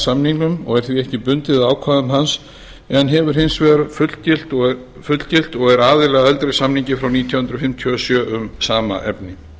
samningnum og er því ekki bundið af ákvæðum hans en hefur hins vegar fullgilt og er aðili að eldri samningi frá nítján hundruð fimmtíu og sjö um sama efni